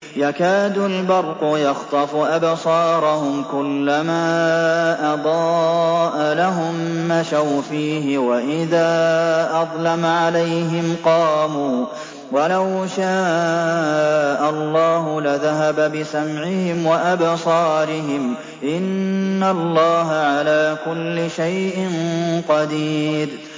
يَكَادُ الْبَرْقُ يَخْطَفُ أَبْصَارَهُمْ ۖ كُلَّمَا أَضَاءَ لَهُم مَّشَوْا فِيهِ وَإِذَا أَظْلَمَ عَلَيْهِمْ قَامُوا ۚ وَلَوْ شَاءَ اللَّهُ لَذَهَبَ بِسَمْعِهِمْ وَأَبْصَارِهِمْ ۚ إِنَّ اللَّهَ عَلَىٰ كُلِّ شَيْءٍ قَدِيرٌ